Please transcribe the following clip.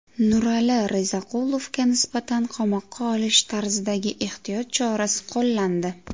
Nurali Rizaqulovga nisbatan qamoqqa olish tarzidagi ehtiyot chorasi qo‘llandi.